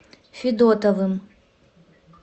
федотовым